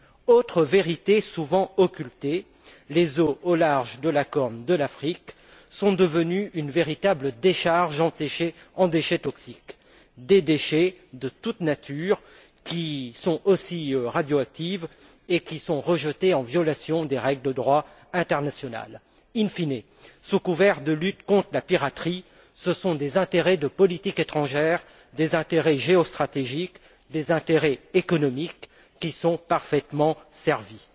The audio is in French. Autre vérité souvent occultée les eaux au large de la corne de l'Afrique sont devenues une véritable décharge de déchets toxiques, des déchets de toute nature qui sont aussi radioactifs et qui sont rejetés en violation des règles de droit international. In fine sous couvert de lutter contre la piraterie, ce sont des intérêts de politique étrangère, des intérêts géostratégiques, des intérêts économiques qui sont parfaitement servis.